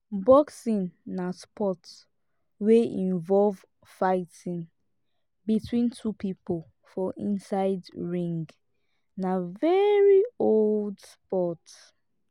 boxing na sport wey involve fighting between two pipo for inside ring na very old sport